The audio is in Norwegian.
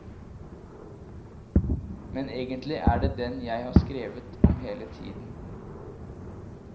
Men egentlig er det den jeg har skrevet om hele tiden.